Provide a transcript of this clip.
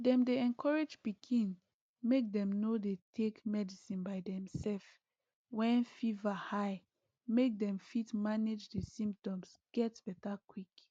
dem dey encourage pikin make dem no dey take medicine by demself when fever high make dem fit manage di symptoms get beta quick